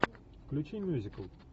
включи мюзикл